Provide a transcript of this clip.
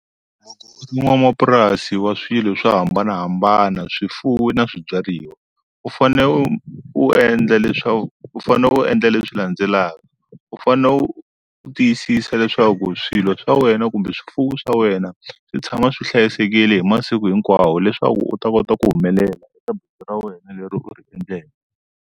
N'wamapurasi wa swilo swo hambanahambana swifuwo na swibyariwa u fane u u endla leswaku u fane u endla leswi landzelaka u fane u u tiyisisa leswaku swilo swa wena kumbe swifuwo swa wena swi tshama swi hlayisekile hi masiku hinkwawo leswaku u ta kota ku humelela eka bindzu ra wena leri u ri endleke.